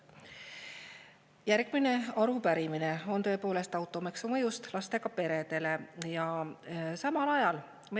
Järgmine arupärimine on tõepoolest automaksu mõjust lastega peredele.